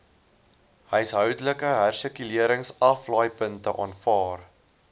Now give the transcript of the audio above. huishoudelike hersirkuleringsaflaaipunte aanvaar